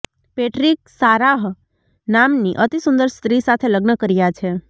Patrick Sarah નામની અતિસુંદર સ્ત્રી સાથે લગ્ન કર્યા છે